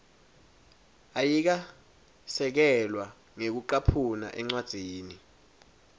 ayikasekelwa ngekucaphuna encwadzini